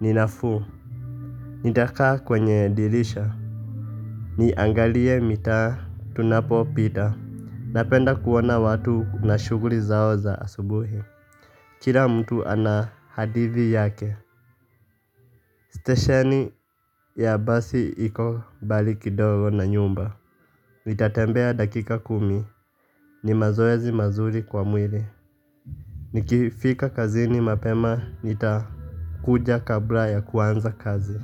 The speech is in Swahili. ni nafuu, nitakaa kwenye dirisha. Niangalie mitaa tunapopita. Napenda kuona watu na shughuli zao za asubuhi. Kila mtu ana hadithi yake Station ya basi iko mbali kidogo na nyumba. Nitatembea dakika kumi. Ni mazoezi mazuri kwa mwili. Nikifika kazini mapema nitakuja kabla ya kuanza kazi.